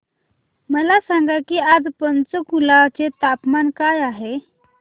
मला सांगा की आज पंचकुला चे तापमान काय आहे